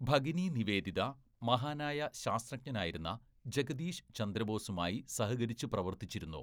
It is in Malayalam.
"ഭഗിനി നിവേദിത മഹാനായ ശാസ്ത്രജ്ഞനായിരുന്ന ജഗദീശ് ചന്ദ്രബോസുമായി സഹകരിച്ചു പ്രവര്‍ത്തിച്ചിരുന്നു. "